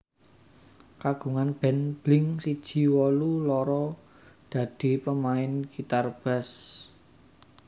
Kagungan band Blink siji wolu loro dadi pemain Gitar Bass